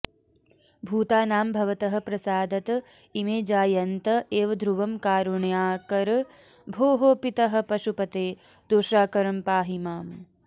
भूतानां भवतः प्रसादत इमे जायन्त एव ध्रुवं कारुण्याकर भोः पितः पशुपते दोषाकरं पाहि माम्